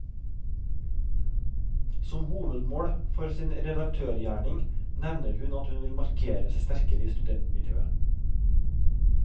Som hovedmål for sin redaktørgjerning nevner hun at hun vil markere seg sterkere i studentmiljøet.